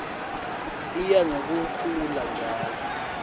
iya ngekukhula njalo